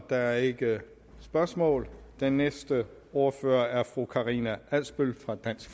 der er ikke spørgsmål den næste ordfører er fru karina adsbøl fra dansk